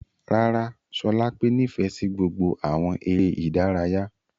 Rárá, Sholape nifẹ si gbogbo awọn ere idaraya.